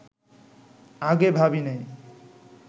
আগে ভাবি নাই